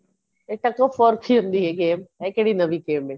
ਇਹ tuk off for ਕੀ ਹੁੰਦੀ ਏ game ਇਹ ਕਿਹੜੀ ਨਵੀ game ਏ